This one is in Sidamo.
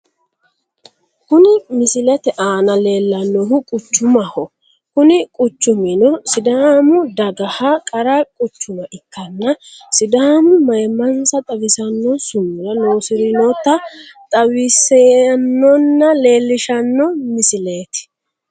Kuni misilete aana leellannohu quchumaho kuni quchumino sidaamu dagaha qara quchuma ikkanna sidaamu maayimmansa xawissanno sumuda loosirinota xawissannonna leellishshanno misileeti.